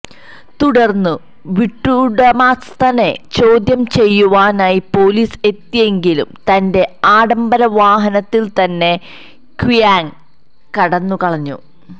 തുടര്ന്ന് വീട്ടുടമസ്ഥനെ ചോദ്യം ചെയ്യുവാനായി പൊലീസ് എത്തിയെങ്കിലും തന്റെ ആഡംബര വാഹനത്തില് തന്നെ ക്വിയാങ് കടന്നുകളഞ്ഞു